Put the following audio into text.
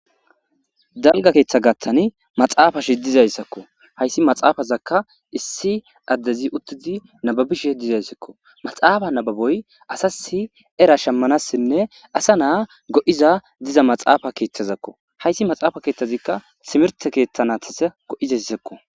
Dalga keetha gathan I maxafeti dizaysako haysa maxafezaka issi addezi uttidi nabbabishe dizaysako maxafe nababoy asas era shamanawnne asa na go'iza diza maxafa keethazako haysi maxafa keethaza timirte keetha naytas go'izaysako.